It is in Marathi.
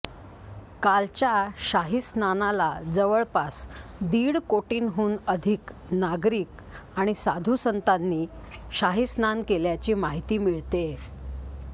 कालच्या शाहीस्नानाला जवळपास दीड कोटींहून अधिक नागरिक आणि साधुसंतांनी शाही स्नान केल्याची माहिती मिळतेय